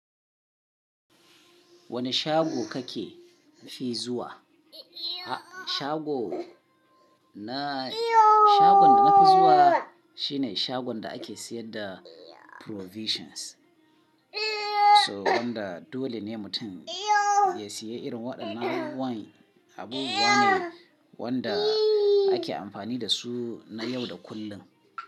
Wane shago kake fi zuwa? Shagon da na fi zuwa shine shagon da ake siyar da provisions. So wanda dole ne mutum ya siye irin waɗannan abu wa ne wanda ake amfani da su na yau da kullum.